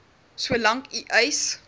solank u eis